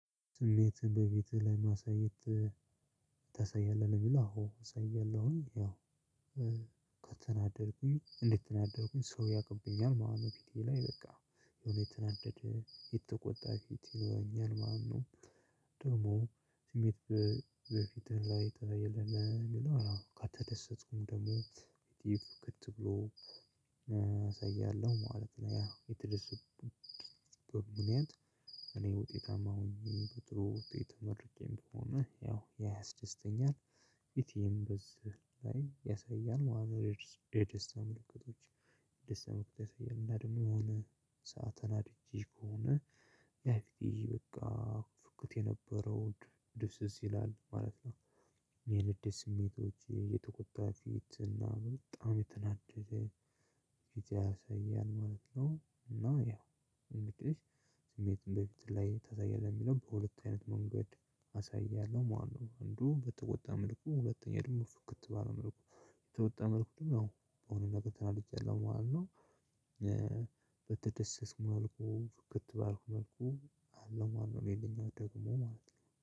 ስሜት በቤትህ ላይ ማሳየት ታሳያለህ ብሎ አዎ እችላለሁኝ ያው ከተናደድኩኝ እንደተናደድኩኝ ሰው ያቅብኛል ማለት ነው ፊቴ ላይ በቃ የሆነ የተናደደ የተቆጣ ፊት ይኖረኛል ማለት ነው ደግሞ ስሜት በፊትህ ላይ ታሳያለህ ለሚለው አዎ ከተደሰትኩም ደግሞ ፊቴ ፍክት ብሎ አሳያለሁ ማለት ነው ያ የትደሰትኩበት ምክንያት እኔ ውጤታማ ሆኜ በጥሩ ውጤት ተመርቄም ከሆነ ያው ያ ያስደስተኛል ፊቴም በዚህ ላይ ያሳያል የደስታ ምልክቶች የደስታ ምልክት ያሳያል። እና ደግሞ የሆነ ሰዓት ተናድጄ ከሆነ ያ ፊቴ በቃ ፍኩት የነበረው ድብዝዝ ይላል ማለት ነው። የንዴት ስሜቶች የተቆጣ ፊት እና በጣም የተናደደ ፊት ያሳያል ማለት ነው። እና ያው እንግዲህ ስሜትን ላይ ታሳያለህ ለሚለው በሁለት አይነት መንገድ አሳያለሁ መለት ነው። አንዱ በተወጣ መልኩ ሁለተኛ የደግሞ ፍክት ባለ መልኩ የተወጣ መልኩ ያው በሆ ነገር ተናድጃለው ማለት ነው። በተደሰትኩ መልኩ ፍክት ባልኩ መልኩ አለው ማለት ነው። ሌላኛው ደግሞ